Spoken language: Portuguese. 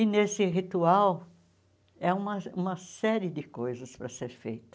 E nesse ritual é uma uma série de coisas para ser feita.